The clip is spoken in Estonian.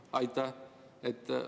Aitäh!